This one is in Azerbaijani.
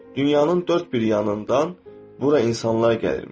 Dünyanın dörd bir yanından bura insanlar gəlirmiş.